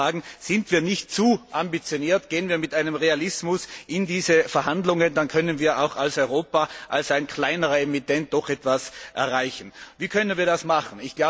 Seien wir nicht zu ambitioniert und gehen wir mit Realismus in diese Verhandlungen, dann können wir als Europa, als ein kleinerer Emittent, doch etwas erreichen. Wie können wir das machen?